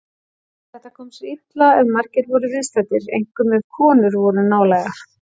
Þetta kom sér illa ef margir voru viðstaddir, einkum ef konur voru nálægar.